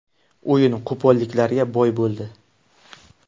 O‘yin qo‘polliklarga boy bo‘ldi.